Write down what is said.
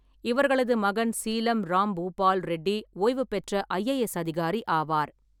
இவர்களது மகன் சீலம் ராம் பூபால் ரெட்டி ஓய்வு பெற்ற ஐ. ஏ. எஸ். அதிகாரி ஆவார்.